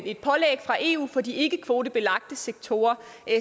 et pålæg fra eu for de ikkekvotebelagte sektorer